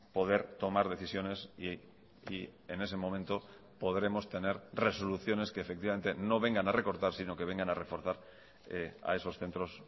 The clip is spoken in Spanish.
poder tomar decisiones y en ese momento podremos tener resoluciones que efectivamente no vengan a recortar sino que vengan a reforzar a esos centros